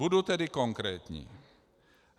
Budu tedy konkrétní.